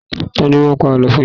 Tani ó máa ń pa àlọ́ fún un yín?